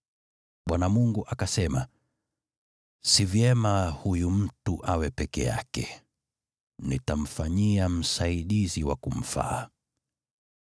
Bwana Mungu akasema, “Si vyema huyu mtu awe peke yake. Nitamfanyia msaidizi wa kumfaa.”